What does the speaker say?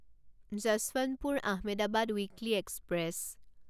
Yesvantpur Ahmedabad weekly express